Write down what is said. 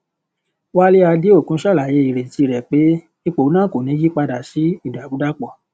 wale adeokun ṣàlàyé ìrètí rẹ pé ipò náà kò ní yí padà sí ìdàrúdàpọ